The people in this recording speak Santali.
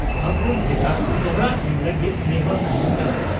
ᱯᱷᱟᱹᱜᱩᱱ ᱵᱷᱮᱫᱟ ᱫᱚᱦᱲᱟ ᱮᱢ ᱞᱟᱹᱜᱤᱫ ᱱᱮᱦᱚᱨ ᱛᱟᱦᱮᱸᱱ ᱠᱟᱱᱟ